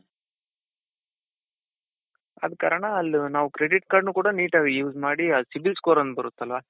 ಆದ ಕಾರಣ ಆಲ್ಲಿ ನಾವ್ ಆ credit cardನು ಕೂಡ neatಆಗಿ use ಮಾಡಿ ಆ CIBIL score ಅನ್ನೋದ್ ಬರುತ್ತಲ್ಲ